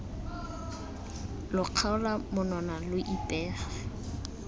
lo kgaola monwana lo ipege